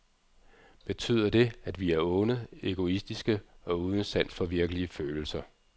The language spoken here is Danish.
Betyder det, at vi er onde, egoistiske og uden sans for virkelige følelser.